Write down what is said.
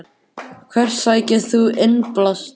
Hvert sækir þú innblástur?